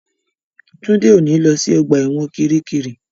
Túndé ò ní lọ sí ọgbà ẹ̀wọ̀n kiríkirì